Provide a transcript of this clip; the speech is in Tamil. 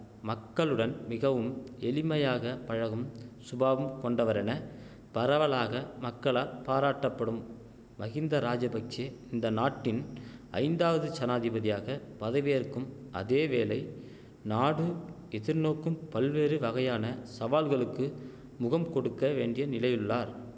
மக்களுடன் மிகவும் எளிமையாக பழகும் சுபாவம் கொண்டவரென பரவலாக மக்களால் பாராட்ட படும் மஹிந்த ராஜபக்ஷெ இந்தநாட்டின் ஐந்தாவது ஜனாதிபதியாக பதவியேற்கும் அதேவேளை நாடு எதிர்நோக்கும் பல்வேறு வகையான சவால்களுக்கு முகம்கொடுக்க வேண்டிய நிலையுள்ளார்